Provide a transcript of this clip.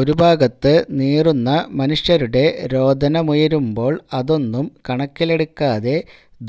ഒരു ഭാഗത്ത് നീറുന്ന മനുഷ്യരുടെ രോദനമുയരുമ്പോള് അതൊന്നും കണക്കിലെടുക്കാതെ